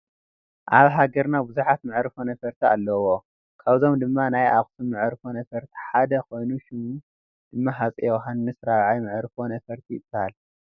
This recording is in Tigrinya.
ኣብ ሃገርና ብዙሓት መዕርፎ ነፈርቲ ኣለዎ፡፡ ካብዞም ድማ ናይ ኣኽሱም መዕርፎ ነፈርቲ ሓደ ኮይኑ ሽሙ ድማ ሃፀይ ዮሐንስ 4ይ መዕርፎ ነፈርቲ ይበሃል፡፡